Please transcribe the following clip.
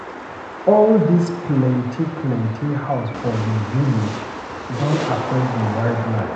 All dis plenty plenty house for we village don affect di wildlife.